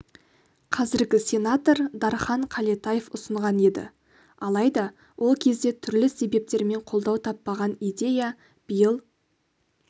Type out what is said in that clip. қазіргі сенатор дархан қалетаев ұсынған еді алайда ол кезде түрлі себептермен қолдау таппаған идея биыл